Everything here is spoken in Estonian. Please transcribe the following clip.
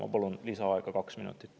Ma palun lisaaega kaks minutit.